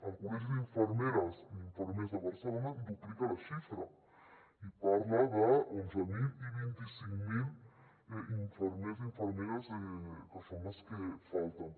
el col·legi d’infermeres i infermers de barcelona duplica la xifra i parla d’onze mil i vint cinc mil infermers i infermeres que són les que falten